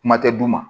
Kuma tɛ d'u ma